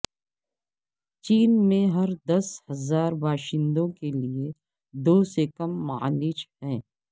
چین میں ہر دس ہزار باشندوں کے لئے دو سے کم معالج ہیں